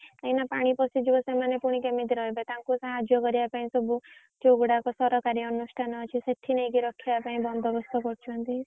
ଏଇନା ପାଣି ପଶିଯିବ ସେମାନେ ଫୁଣି କେମିତି ରହିବେ ତାଙ୍କୁ ସାହାଯ୍ୟ କରିବା ପାଇଁ ସବୁ ଯୋଉଗୁଡାକ ସରକାରି ଅନୁଷ୍ଠାନ ଅଛି ସେଠି ନେଇକି ରଖିବା ପାଇଁ ବନ୍ଦୋବସ୍ତ କରୁଛନ୍ତି।